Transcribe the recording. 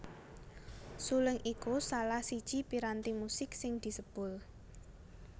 Suling iku salah siji piranti musik sing disebul